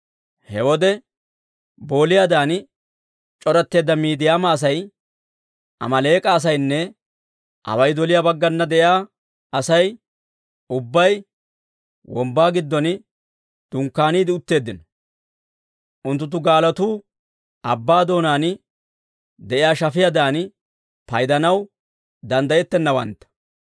He wode booliyaadan c'oratteedda Miidiyaama asay, Amaaleek'a asaynne away doliyaa baggana de'iyaa Asay ubbay wombbaa giddon dunkkaaniide utteeddino. Unttuttu gaalotuu abbaa doonaan de'iyaa shafiyaadan paydanaw danddayettennawantta.